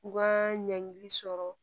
U ka ɲangili sɔrɔ